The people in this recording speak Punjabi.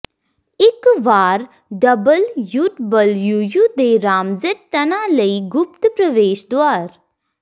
ਇੱਕ ਵਾਰ ਡਬਲਯੂਡਬਲਯੂਯੂ ਦੇ ਰਾਮਜੇਟ ਟਨਾਂ ਲਈ ਗੁਪਤ ਪ੍ਰਵੇਸ਼ ਦੁਆਰ